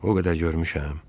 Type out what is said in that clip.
O qədər görmüşəm.